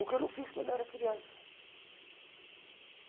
O que eu não fiz quando era criança.